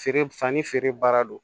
Feere fani feere baara don